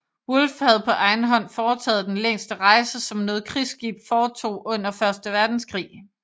Wolf havde på egen hånd foretaget den længste rejse som noget krigsskib foretog under første verdenskrig